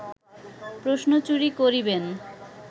প্রশ্ন চুরি করিবেন